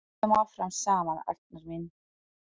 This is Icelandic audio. Við verðum áfram saman, Arnar minn.